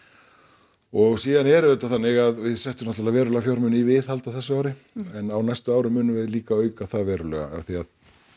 og síðan er auðvitað þannig að við settum náttúrulega verulega fjármuni í viðhald á þessu ári en á næstu árum munum við líka auka það verulega af því að